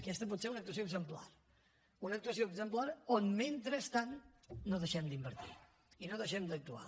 aquesta pot ser una actuació exemplar una actuació exemplar on mentrestant no deixem d’invertir i no deixem d’actuar